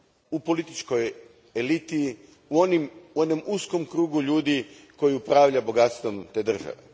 u političkoj eliti, u onom uskom krugu ljudi koji upravljaju bogatstvom te države.